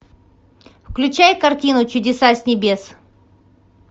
включай картину чудеса с небес